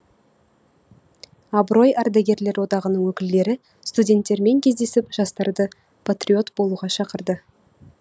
абырой ардагерлер одағының өкілдері студенттермен кездесіп жастарды патриот болуға шақырды